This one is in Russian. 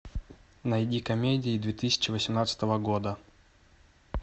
найди комедии две тысячи восемнадцатого года